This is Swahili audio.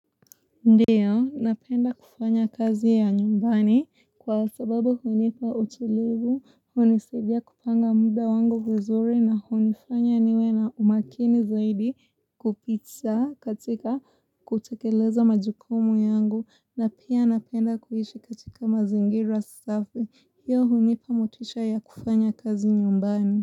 Ndiyo, napenda kufanya kazi ya nyumbani kwa sababu hunipa utilivu, hunisidia kupanga muda wangu vizuri na hunifanya niwe na umakini zaidi kupitia katika kutekeleza majukumu yangu na pia napenda kuishi katika mazingira safi, hiyo hunipa motisha ya kufanya kazi nyumbani.